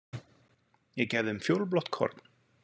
Ég gef þeim fjólublátt korn.